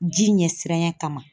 Ji ɲɛsiranɲɛ kama.